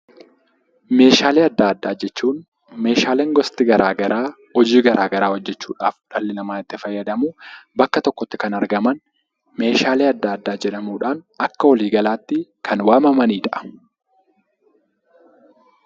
Meeshaalee addaa addaa jechuun Meeshaaleen gosti garaagaraa hojii garaagaraa hojjechuudhaaf dhalli namaa itti fayyadamu, bakka tokkotti kan argaman Meeshaalee addaa addaa jedhamuudhaan akka walii galaatti kan waamamanidha.